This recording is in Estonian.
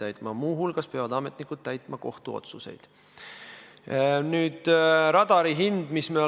Ma ütlesin, et ümbrikupalga maksmine protsendina töötajatest oli 2018. aastal 6%, 2017 oli see 13% ja 2016 oli see 8% vastavalt konjunktuuriinstituudi andmetele.